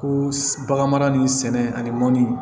Ko bagan mara ni sɛnɛ ani mɔni